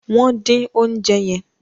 wón din oúnjẹ yen.